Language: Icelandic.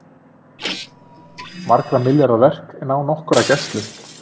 Margra milljarða verk án nokkurrar gæslu